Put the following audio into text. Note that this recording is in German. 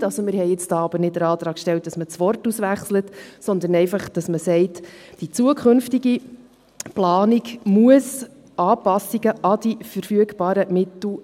Wir haben jetzt aber nicht den Antrag gestellt, dass man das Wort auswechselt, sondern einfach, dass man sagt: Die zukünftige Planung muss Anpassungen an die verfügbaren Mittel …